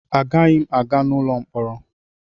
Agaghị m aga n'ụlọ mkpọrọ.